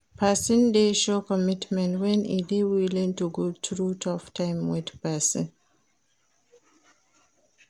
Persin dey show commitment when e de willing to go through tough time with persin